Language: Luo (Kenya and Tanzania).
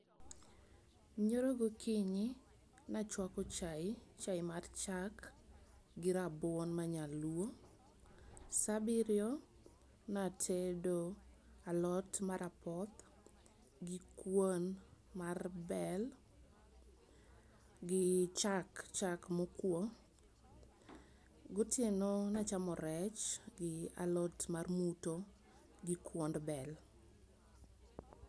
nyoro gokinyo nachwako chai, chai mar chak gi rabuon manyaluo. Saa biriyo natedo alot mar apoth, gi kuon mar bel, gi chak chak mopuo. Gotieno nachamo rech gi alot mar muto gi kuond bel.